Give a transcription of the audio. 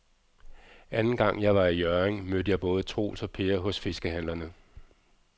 Anden gang jeg var i Hjørring, mødte jeg både Troels og Per hos fiskehandlerne.